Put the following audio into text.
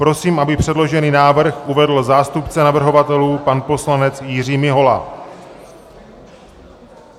Prosím, aby předložený návrh uvedl zástupce navrhovatelů pan poslanec Jiří Mihola.